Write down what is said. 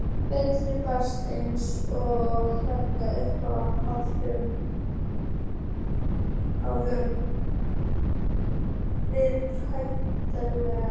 Berti baðaði sig eins og venjulega upp úr aðdáun viðhlæjenda.